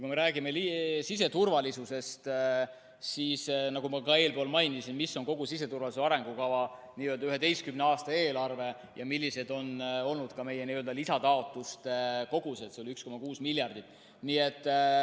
Kui me räägime siseturvalisusest, siis nagu ma ka eelpool mainisin, kogu siseturvalisuse arengukava n‑ö 11 aasta eelarve ja ka meie lisataotluste kogused on 1,6 miljardit.